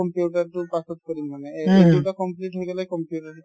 computer তো পাছত কৰিম মানে এই দুটা complete হৈ গ'লে computer